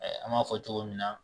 An b'a fɔ cogo min na